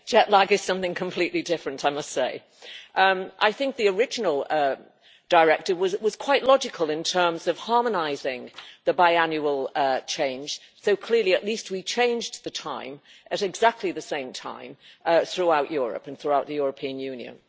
Jet lag is something completely different. I think the original directive was quite logical in terms of harmonising the biannual change, so clearly at least we changed the time at exactly the same time throughout Europe and throughout the European Union.